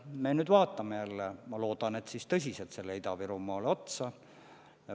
Me nüüd vaatame jälle – ma loodan, et tõsiselt – Ida-Virumaale otsa.